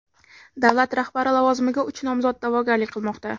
Davlat rahbari lavozimiga uch nomzod da’vogarlik qilmoqda.